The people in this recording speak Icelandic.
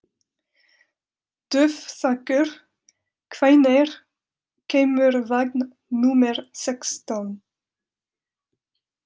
Dufþakur, hvenær kemur vagn númer sextán?